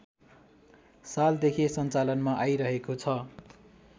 सालदेखि सञ्चालनमा आइरहेको छ